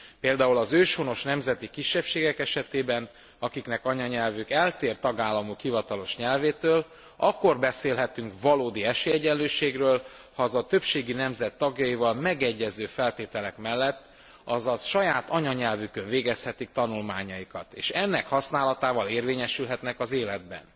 Például az őshonos nemzeti kisebbségek esetében akiknek anyanyelve eltér tagállamuk hivatalos nyelvétől akkor beszélhetünk valódi esélyegyenlőségről, ha azok a többségi nemzet tagjaival megegyező feltételek mellett, azaz saját anyanyelvükön végezhetik tanulmányaikat, és ennek használatával érvényesülhetnek az életben.